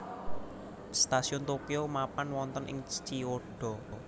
Stasiun Tokyo mapan wonten ing Chiyoda